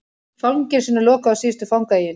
Fangelsinu lokað á síðustu fangaeyjunni